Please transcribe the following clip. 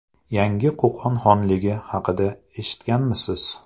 Yangi Qo‘qon xonligi haqida eshitganmisiz?